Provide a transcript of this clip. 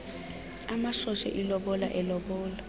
amoshe ilobola elobola